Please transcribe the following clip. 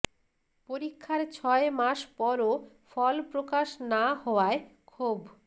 পরীক্ষার ছয় মাস পরও ফল প্রকাশ না হওয়ায় ক্ষোভ